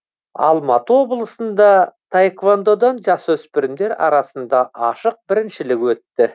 алматы облысында таэквондадан жасөспірімдер арасында ашық біріншілік өтті